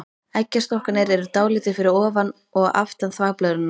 Eggjastokkarnir eru dálítið fyrir ofan og aftan þvagblöðruna.